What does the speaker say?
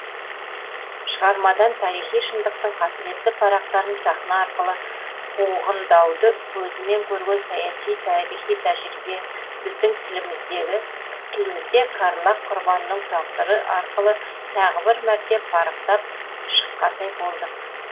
шығармадан тарихи шындықтың қасіретті парақтарын сахна арқылы қуғындауды көзімен көрген саяси тарихи тәжірибе біздің тілімізде карлаг құрбанының тағдыры арқылы тағы бір мәрте парықтап шыққандай болдық